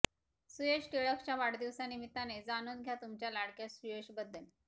सुयश टिळकच्या वाढदिवसाच्या निमित्ताने जाणून घ्या तुमच्या लाडक्या सुयशबद्दल